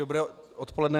Dobré odpoledne.